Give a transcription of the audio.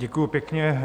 Děkuji pěkně.